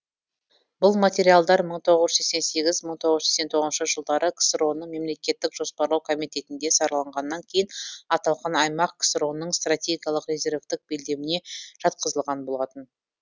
бұл материалдар мың тоғыз жүз сексен сегіз мың тоғыз жүз сексен тоғыз жылдары ксро ның мемлекеттік жоспарлау комитетінде сараланғаннан кейін аталған аймақ ксро ның стратегиялық резервтік белдеміне жатқызылған болатын